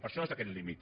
per això és aquest límit